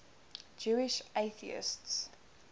jewish atheists